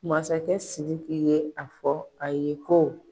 Masakɛ SIRIKI y'a fɔ a ye ko.